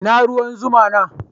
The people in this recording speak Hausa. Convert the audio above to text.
Ina ruwan zuma na?